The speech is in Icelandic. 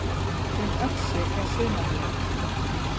Um Öxi er sumarleið